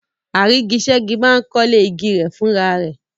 Àrígiṣẹ́gi máa ń kọ́lé igi rẹ̀ fúnra rẹ̀.